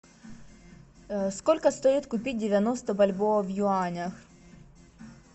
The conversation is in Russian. сколько стоит купить девяносто бальбоа в юанях